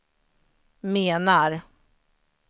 menar